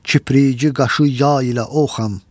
Kipriyi qaşı yay ilə oxam.